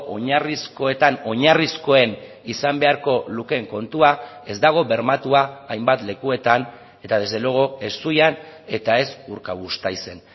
oinarrizkoetan oinarrizkoen izan beharko lukeen kontua ez dago bermatua hainbat lekuetan eta desde luego ez zuian eta ez urkabustaizen